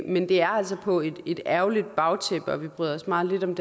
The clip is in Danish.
men det er altså på et ærgerligt bagtæppe og vi bryder os meget lidt om